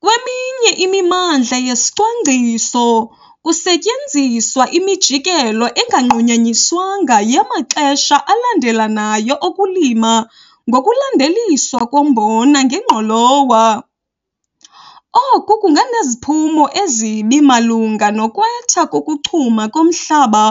Kweminye imimandla yesicwangciso, kusetyenziswa imijikelo enganqunyanyiswayo yamaxesha alandelelanayo okulima ngokulandeliswa kombona ngengqolowa. Oku kunganeziphumo ezibi malunga nokwetha kokuchuma komhlaba